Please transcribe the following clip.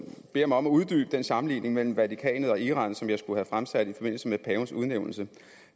beder mig uddybe den sammenligning mellem vatikanet og iran som jeg skulle have fremsat i forbindelse med pavens udnævnelse